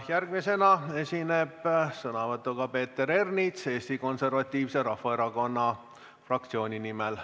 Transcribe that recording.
Järgmisena esineb sõnavõtuga Peeter Ernits Eesti Konservatiivse Rahvaerakonna fraktsiooni nimel.